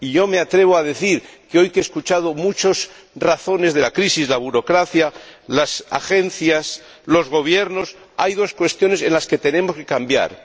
Y yo me atrevo a decir que hoy, que he escuchado muchas razones de la crisis —la burocracia, las agencias, los gobiernos—, hay dos cuestiones en las que tenemos que cambiar.